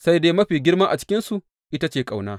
Sai dai mafi girma a cikinsu ita ce ƙauna.